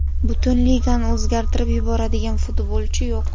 Butun ligani o‘zgartirib yuboradigan futbolchi yo‘q.